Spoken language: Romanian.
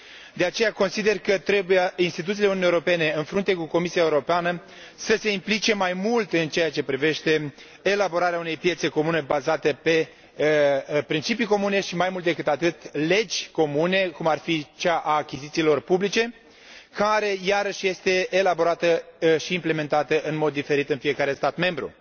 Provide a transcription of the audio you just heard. De aceea, consider că instituțiile Uniunii Europene, în frunte cu Comisia Europeană, trebuie să se implice mai mult în ceea ce privește elaborarea unei piețe comune bazate pe principii comune și, mai mult decât atât, legi comune, cum ar fi cea a achizițiilor publice care, iarăși, este elaborată și implementată în mod diferit în fiecare stat membru.